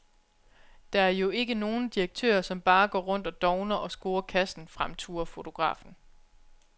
Der er jo ikke nogen direktører, som bare går rundt og dovner og scorer kassen, fremturer fotografen.